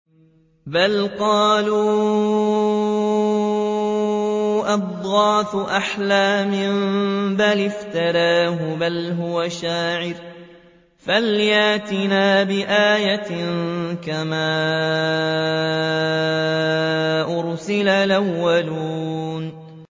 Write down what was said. بَلْ قَالُوا أَضْغَاثُ أَحْلَامٍ بَلِ افْتَرَاهُ بَلْ هُوَ شَاعِرٌ فَلْيَأْتِنَا بِآيَةٍ كَمَا أُرْسِلَ الْأَوَّلُونَ